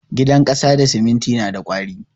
Gidan kasa da siminti na da ƙwari.